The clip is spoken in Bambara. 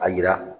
A yira